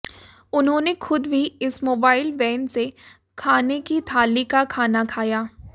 उन्होंने खुद भी इस मोबाइल वैन से खाने की थाली का खाना खाया